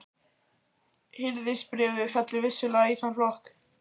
Hirðisbréfið fellur vissulega í þann flokk.